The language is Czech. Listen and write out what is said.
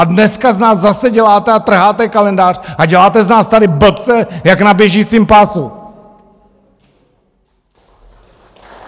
A dneska z nás zase děláte a trháte kalendář a děláte z nás tady blbce jak na běžícím pásu!